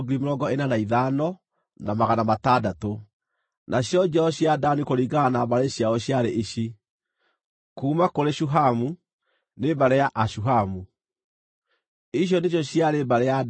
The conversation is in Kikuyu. Nacio njiaro cia Dani kũringana na mbarĩ ciao ciarĩ ici: kuuma kũrĩ Shuhamu nĩ mbarĩ ya Ashuhamu. Icio nĩcio ciarĩ mbarĩ ya Dani.